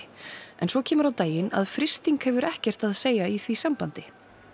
en svo kemur á daginn að frysting hefur ekkert að segja í því sambandi